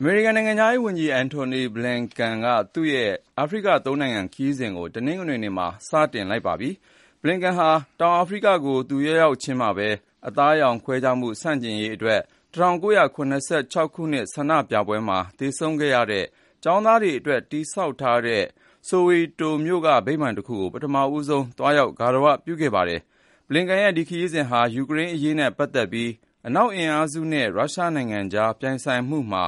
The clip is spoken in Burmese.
အမေရိကန် နိုင်ငံခြားရေးဝန်ကြီး Antony Blinken က သူ့ရဲ့ အာဖရိက(၃) နိုင်ငံခရီးစဉ်ကို တနင်္ဂနွေနေ့မှာ စတင်လိုက်ပါတယ်။ Blinken ဟာ တောင်အာဖရိကကို သူရောက်ရောက်ချင်းမှာပဲ အသားရောင်ခွဲခြားမှု ဆန့်ကျင်ရေး ၁၉၇၆ ခုနှစ် ဆန္ဒပြပွဲမှာ သေဆုံးခဲ့ရတဲ့ ကျောင်းသားတွေအတွက် တည်ဆောက်ထားတဲ့ Soweto မြို့က ဗိမာန်တခုကို ပထမဆုံး သွားရောက် ဂါရဝပြုခဲ့တာပါ။ Blinken ရဲ့ ဒီခရီးစဉ်ဟာ ယူကရိန်းအရေးနဲ့ ပတ်သက်ပြီး အနောက်အင်အားစုနဲ့ ရုရှားနိုင်ငံကြား ပြိုင်ဆိုင်မှုမှာ